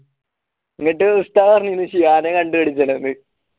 എന്നിട്ട് ഉസ്താദ് പറഞ്ഞിന് ഷിയാനെ കണ്ടുപിടിക്കണമെന്ന്